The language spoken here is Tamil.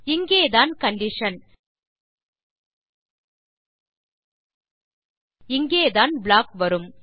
இங்கேதான் கண்டிஷன் இங்கேதான் ப்ளாக் வரும்